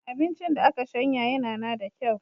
Abincin da aka shanya yanana da kyau.